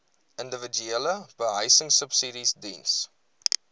individuele behuisingsubsidies diens